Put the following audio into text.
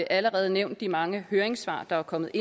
allerede nævnt de mange høringssvar der er kommet